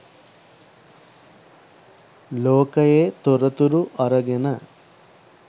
ලෝකයේ තොරතුරු අරගෙන